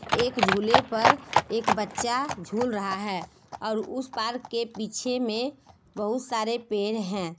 एक झूले पर एक बच्चा झूल रहा है और उस पार्क के पीछे में बहुत सारे पेड़ हैं।